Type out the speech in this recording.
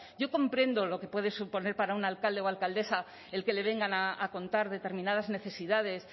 yo comprendo lo que puede suponer para un alcalde o alcaldesa el que le vengan a contar determinadas necesidades